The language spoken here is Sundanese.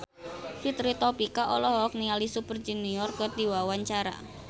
Fitri Tropika olohok ningali Super Junior keur diwawancara